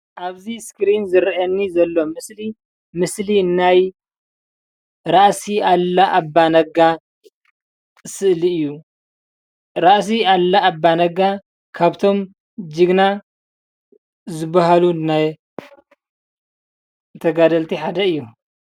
ኣብዚ እስክሪን ዝረአየኒ ዘሎ ምስሊ ምስሊ ናይ ራእሲ ኣሉላ ኣባነጋ ስእሊ እዩ፡፡ ራእሲ ኣሉላ ኣባነጋ ካብቶም ጅግና ዝባሃሉ ናይ ተጋደልቲ ሓደ እዩ፡፡